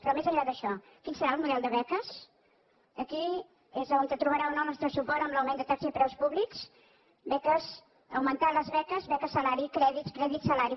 però més enllà d’això quin serà el model de beques aquí és on trobarà o no el nostre suport en l’augment de taxes i preus públics beques augmentar les beques beques salari crèdits crèdits salari